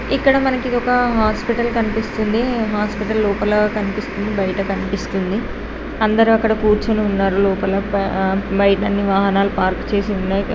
ఇక్కడ మనకి ఒక హాస్పిటల్ కనిపిస్తుంది. హాస్పిటల్ లోపల కనిపిస్తుంది బయట కనిపిస్తుంది. అందరూ అక్కడ కూర్చుని ఉన్నారు. లోపల ఆ బయట అన్ని వాహనాలు పార్కు చేసి ఉన్నాయి.